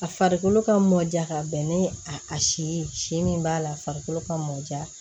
A farikolo ka mɔ ja ka bɛn ni a si ye si min b'a la a farikolo ka mɔ ja